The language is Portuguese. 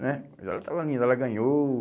né, mas ela estava linda, ela ganhou.